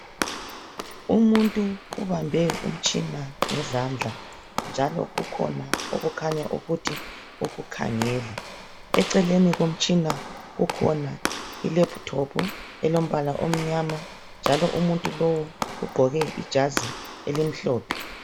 Umuntu ubambe umtshina ngezandla njalo kukhona okukhanya ukukhangela, eceleni komtshina ikhona